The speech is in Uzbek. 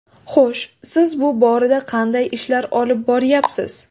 Xo‘sh, s iz bu borada qanday ishlar olib boryapsiz?